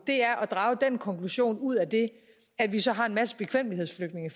er man drager den konklusion ud af det at vi så har en masse bekvemmelighedsflygtninge